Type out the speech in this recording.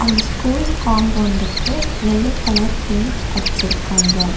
இந்த ஸ்கூல் கம்பவுண்டுக்கு yellow colour paint அடுச்சுருக்காங்க.